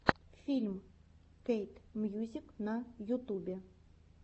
фильм кэт мьюзик на ютубе